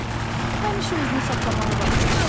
Həmişə özünü saxlamağı bacar.